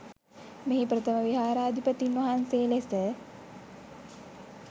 මෙහි ප්‍රථම විහාරාධිපතීන් වහන්සේ ලෙස